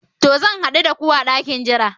To, zan hadu da ku a dakin jira